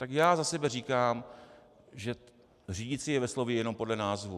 Tak já za sebe říkám, že řídicí je ve slově jenom podle názvu.